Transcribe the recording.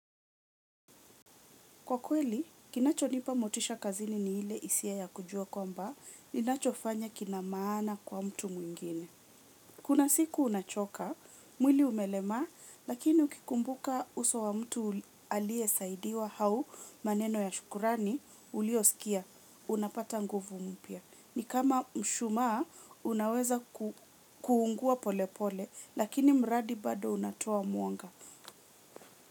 Kwa kweli, kinachonipa motisha kazini ni ile hisia ya kujua kwamba, ninachofanya kina maana kwa mtu mwingine. Kuna siku unachoka, mwili umelemaa, lakini ukikumbuka uso wa mtu aliyesaidiwa au maneno ya shukrani uliyosikia unapata nguvu mpya. Ni kama mshumaa, unaweza kuungua polepole, lakini mradi bado unatoa mwanga.